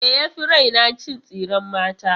Me ya fi raina? Cin tsiren mata.